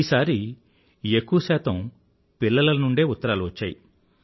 ఈసారి ఎక్కువ శాతం పిల్లల నుండే ఉత్తరాలు వచ్చాయి